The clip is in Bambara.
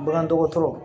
Bagandɔgɔtɔrɔ